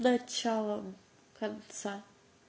начало конца